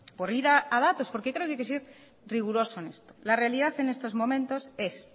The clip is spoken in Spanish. por ir a datos porque creo que hay que ser riguroso en esto la realidad en estos momentos es